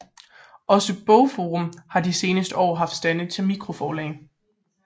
Også BogForum har de seneste år haft stande til mikroforlag